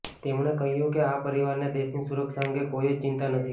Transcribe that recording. તેમણે કહ્યું કે આ પરિવારને દેશની સુરક્ષા અંગે કોઇ જ ચિંતા નથી